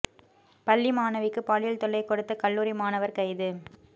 பள்ளி மாணவிக்கு பாலியல் தொல்லை கொடுத்த கல்லூரி மாணவர் கைது